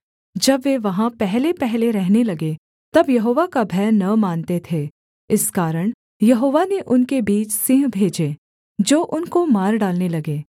जब वे वहाँ पहलेपहले रहने लगे तब यहोवा का भय न मानते थे इस कारण यहोवा ने उनके बीच सिंह भेजे जो उनको मार डालने लगे